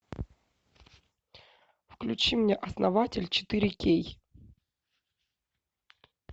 включи мне основатель четыре кей